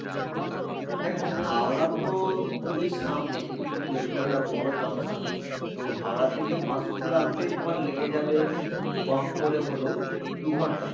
দেখো হাওড়া তো খুবই সামনে কিন্তু যেহেতু একটা বড়ো junction তো হাওড়া থেকে পাসপুরা আসতেই তোমার লেগে যাবে কম করে হলেও দু ঘন্টা